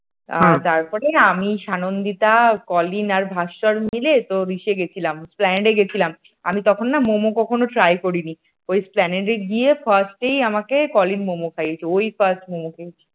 তারপরে আমি সানন্দিতা পলিন আর ভাস্কর মিলে তোর এতে গিয়েছিলাম এক্সপ্লানেট গিয়েছিলাম আমি তখনও নাম মম কখনও try করিনি ওই এক্সপ্লানেট গিয়ে first ই আমাকে পলিন মোমো খাইয়েছে। ওই firdt মোমো খেয়েছি